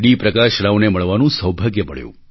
પ્રકાશ રાવને મળવાનું સૌભાગ્ય મળ્યું